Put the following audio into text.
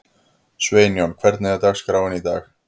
Sveinjón, hvernig er dagskráin í dag?